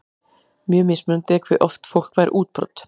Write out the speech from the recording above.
Mjög mismunandi er hve oft fólk fær útbrot.